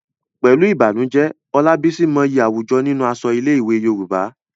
Pẹ̀lú ìbànújẹ́, Olabisi mọyì àwùjọ nínú aṣọ ilé-ìwé Yorùbá.